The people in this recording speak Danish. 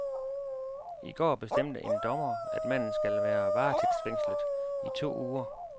I går bestemte en dommer, at manden skal være varetægtsfængslet i to uger.